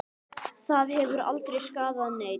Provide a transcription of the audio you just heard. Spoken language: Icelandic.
Það hefur aldrei skaðað neinn.